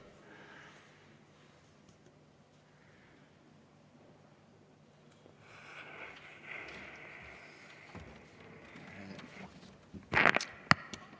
Palun!